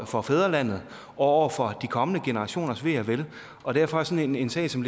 for fædrelandet og over for de kommende generationers ve og vel og derfor er sådan en sag som